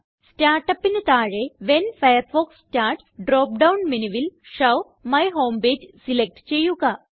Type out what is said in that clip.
Startupന് താഴെ when Firefox starts drop down menuല് show my home page select ചെയ്യുക